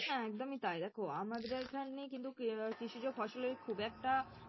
হ্যাঁ একদমই তাই দেখো আমাদের এইখানে কিন্তু কৃষিজ ফসলের খুব একটা